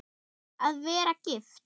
Að vera gift?